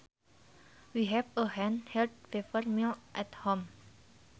We have a hand held pepper mill at home